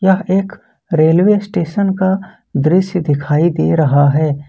यह एक railway station का दृश्य दिखाई दे रहा है।